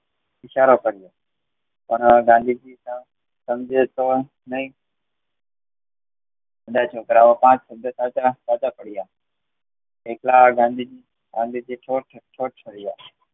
ઈશારો કર્યો અને ગાંધીજી ના સાંજે તો નહ બધા છોકરાયોના સબ્ધ સાચા પડ્યા. એકલા ગાંધીજી છોડ છોડ છડિયા